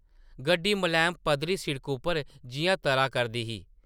गड्डी मलैम पद्धरी सिड़का उप्पर जिʼयां तरा करदी ही ।